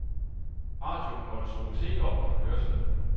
Radioen måtte skrues helt op under kørslen.